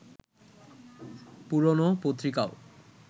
পুরোনো পত্রিকাও